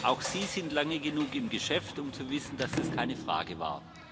Auch Sie sind lange genug im Geschäft, um zu wissen, dass das keine Frage war.